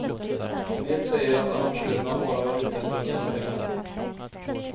En del säger att arrangörerna bara var ute efter att tjäna pengar.